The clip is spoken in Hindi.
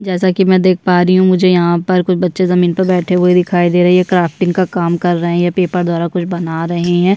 जैसा की मैं देख पा रही हूँ मुझे यहाँ पर कुछ बच्चे जमीन पर बैठे हुए दिखाई दे रहै है ये क्राफ्टिंग का काम कर रहै है ये पेपर द्वारा कुछ बना रही है।